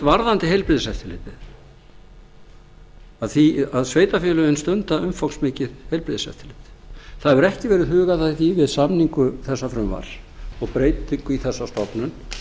varðandi heilbrigðiseftirlitið að sveitarfélögin stunda umfangsmikið heilbrigðiseftirlit það hefur ekki verið hugað að því við samningu þessa frumvarps og breytingu í þessa stofnun